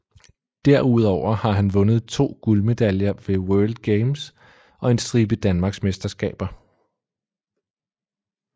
Derudover har hun vundet to guldmedaljer ved World Games og en stribe danmarksmesterskaber